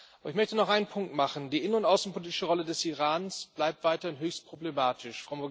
Aber ich möchte noch einen Punkt machen Die innen und außenpolitische Rolle des Irans bleibt weiter höchst problematisch.